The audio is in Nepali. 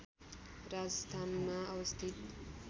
राजस्थानमा अवस्थित